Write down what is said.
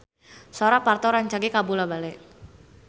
Sora Parto rancage kabula-bale